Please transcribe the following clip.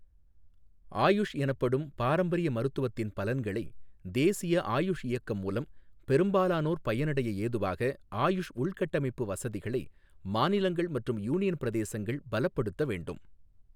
ஆயுஷ் எனப்படும் பாரம்பரிய மருத்துவத்தின் பலன்களை தேசிய ஆயுஷ் இயக்கம் மூலம் பெரும்பாலானோர் பயனடைய ஏதுவாக ஆயுஷ் உள்கட்டமைப்பு வசதிகளை மாநிலங்கள் மற்றும் யூனியன் பிரதேசங்கள் பலப்படுத்த வேண்டும்